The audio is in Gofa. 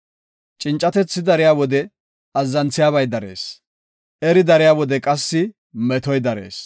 Cincatethi dariya wode azzanthiyabay darees; eri dariya wode qassi metoy darees.